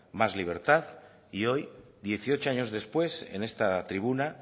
más libertad y hoy dieciocho años después en esta tribuna